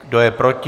Kdo je proti?